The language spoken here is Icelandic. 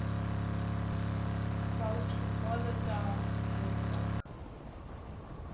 Fálki, hvaða dagur er í dag?